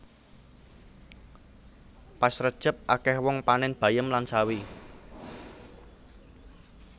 Pas rejeb akeh wong panen bayem lan sawi